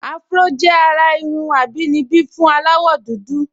Áfúró jẹ́ àrà irun àbínibí fún aláwọ̀dúdú